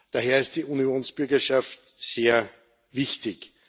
Daher ist die Unionsbürgerschaft sehr wichtig.